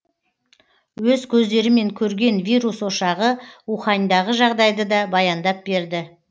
өз көздерімен көрген вирус ошағы уханьдағы жағдайды да баяндап берді